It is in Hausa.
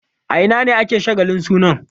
A ina ne ake shagalin sunan?